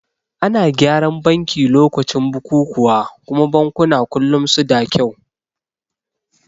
Ana gyaran banki lokacin bukukuwa kuma bankuna kullum suda kyau